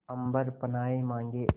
अम्बर पनाहे मांगे